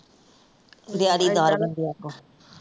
ਦਿਹਾੜੀ ਦਾਰ ਬੰਦਿਆਂ ਤੋਂ।